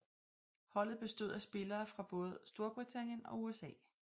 Holdet bestod af spillere fra både Storbritannien og USA